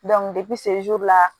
la